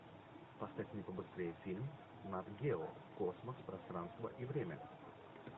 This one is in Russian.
поставь мне побыстрее фильм нат гео космос пространство и время